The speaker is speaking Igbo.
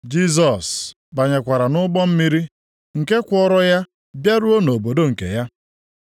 Jisọs banyekwara nʼụgbọ mmiri nke kwọọrọ ya bịaruo nʼobodo nke ya.